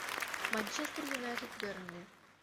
манчестер юнайтед бернли